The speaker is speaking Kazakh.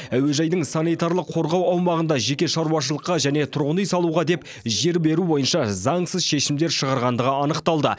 әуежайдың санитарлық қорғау аумағында жеке шаруашылыққа және тұрғын үй салуға деп жер беру бойынша заңсыз шешімдер шығарғандығы анықталды